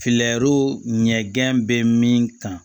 ɲɛgɛn bɛ min kan